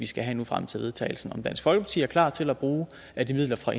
skal have frem til vedtagelsen og om dansk folkeparti er klar til at bruge af de midler fra